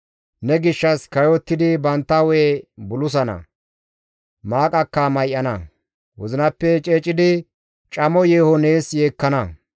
Ne gishshas kayottidi bantta hu7e bulusana; maaqaka may7ana; wozinappe ceecidi camo yeeho nees yeekkana.